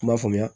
Kuma faamuya